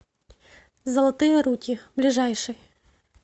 золотые руки ближайший